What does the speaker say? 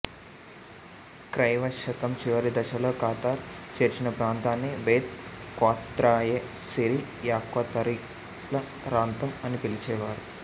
క్రైవశకం చివరి దశలో ఖతార్ చేర్చిన ప్రాంతాన్ని బెత్ క్వత్రయే సిరియాక్వతరీలరాంతం అని పిలిచేవారు